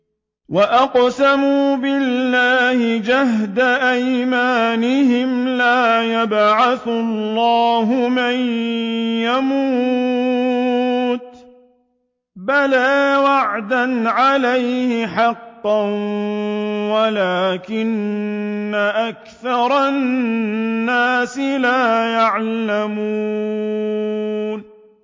وَأَقْسَمُوا بِاللَّهِ جَهْدَ أَيْمَانِهِمْ ۙ لَا يَبْعَثُ اللَّهُ مَن يَمُوتُ ۚ بَلَىٰ وَعْدًا عَلَيْهِ حَقًّا وَلَٰكِنَّ أَكْثَرَ النَّاسِ لَا يَعْلَمُونَ